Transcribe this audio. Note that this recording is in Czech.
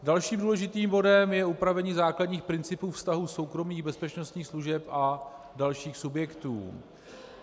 Dalším důležitým bodem je upravení základních principů vztahu soukromých bezpečnostních služeb a dalších subjektů.